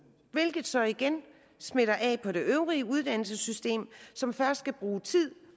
hvilket så igen smitter af på det øvrige uddannelsessystem som først skal bruge tid